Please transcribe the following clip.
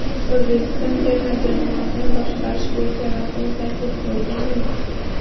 O‘zbekiston terma jamoasini boshqarish bo‘yicha rasmiy taklif bo‘lganmi?